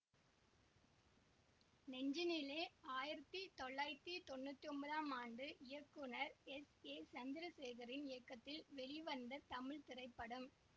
நெஞ்சினிலே ஆயிரத்தி தொள்ளாயிரத்தி தொன்னூத்தி ஒன்பதாம் ஆண்டு இயக்குநர் எஸ் ஏ சந்திரசேகரின் இயக்கத்தில் வெளிவந்த தமிழ் திரைப்படம்